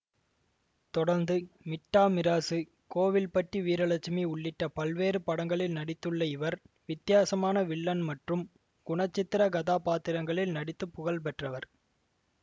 தொடர்ந்து மிட்டா மிராசு கோவில்பட்டி வீரலட்சுமி உள்ளிட்ட பல்வேறு படங்களில் நடித்துள்ள இவர் வித்தியாசமான வில்லன் மற்றும் குணச்சித்திர கதாபாத்திரங்களில் நடித்து புகழ் பெற்றவர்